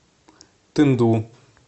тынду